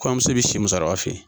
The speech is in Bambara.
Koɲɔmuso bɛ si musokɔrɔba fɛ ye.